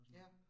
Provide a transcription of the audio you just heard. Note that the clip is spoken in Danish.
Ja